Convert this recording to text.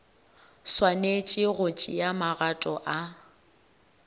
swanetše go tšea magato a